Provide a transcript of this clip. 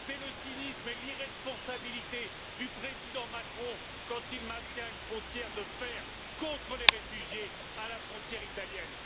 C'est le cynisme et l'irresponsabilité du président Macron quand il maintient une frontière de fer contre les réfugiés à la frontière italienne!